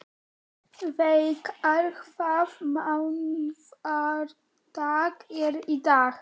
Veigar, hvaða mánaðardagur er í dag?